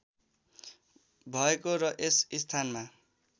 भएको र यस स्थानमा